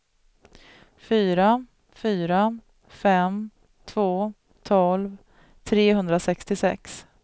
fyra fyra fem två tolv trehundrasextiosex